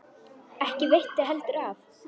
Ekki veitti heldur af.